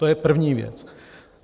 To je první věc.